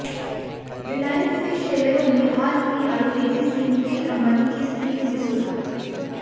रिलायंस के शेयरों में हाल में आई तेजी से मुकेश अंबानी की स्थिति में सुधार